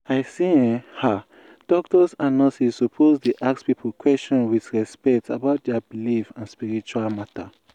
i say eeh ah doctors and nurses suppose dey ask people question with respect about dia believe for spiritual matter.